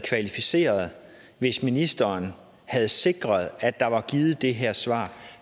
kvalificerede hvis ministeren havde sikret at der var givet det her svar